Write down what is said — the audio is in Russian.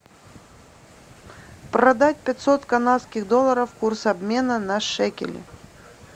продать пятьсот канадских долларов курс обмена на шекели